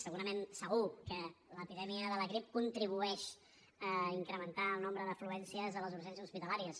segurament segur que l’epidèmia de la grip contribueix a incrementar el nombre d’afluències a les urgències hospitalàries